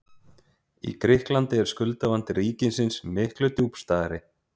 Í Grikklandi er skuldavandi ríkisins miklu djúpstæðari.